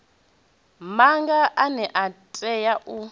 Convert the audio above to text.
maga ane a tea u